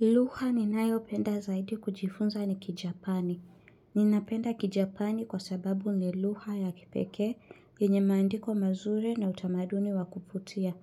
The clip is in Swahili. Lugha ni nayo penda zaidi kujifunza ni kijapani. Ninapenda kijapani kwa sababu nilugha ya kipekee yenye maandiko mazuri na utamaduni wa kuputia.